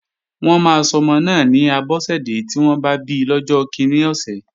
Wọ́n máa sọmọ náà ni Abọ́sẹ̀dẹ́ tí wọ́n bá bi lọ́jọ́ kíní ọ̀sẹ̀